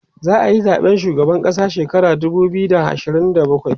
za'ayi zaɓen shugaban ƙasa shekara dubu biyu da ashirin da bakwai